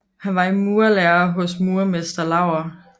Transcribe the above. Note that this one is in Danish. Han var i murerlære hos murermester Laur